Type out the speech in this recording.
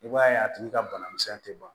I b'a ye a tigi ka banamisɛn tɛ ban